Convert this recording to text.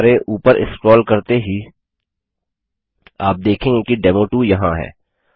हमारे ऊपर स्क्रोल करते ही आप देखेंगे कि डेमो2 यहाँ है